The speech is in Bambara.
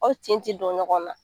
Aw tin ti don ɲɔgɔn na.